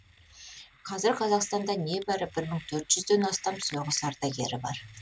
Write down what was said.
қазір қазақстанда небәрі бір мың төрт жүзден астам соғыс ардагері бар